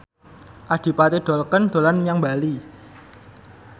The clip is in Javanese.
Adipati Dolken dolan menyang Bali